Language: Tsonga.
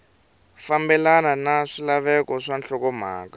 fambelena na swilaveko swa nhlokomhaka